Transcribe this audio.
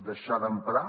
deixar d’emprar